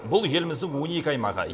бұл еліміздің он екі аймағы